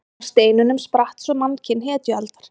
Af steinunum spratt svo mannkyn hetjualdar.